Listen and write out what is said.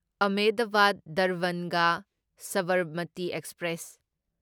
Ahmedabad Darbhanga Sabarmati express